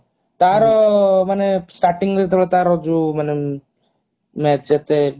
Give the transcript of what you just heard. ତାର ମାନେ starting ରୁ ତାର ଯୋଉ ମାନେ ନ ସେତେ public